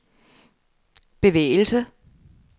bevægelse